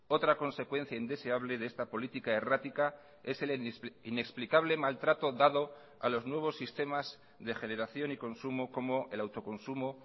otra consecuencia indeseable de esta política errática es el inexplicable maltrato dado a los nuevos sistemas de generación y consumo como el autoconsumo